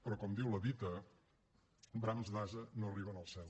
però com diu la dita brams d’ase no arriben al cel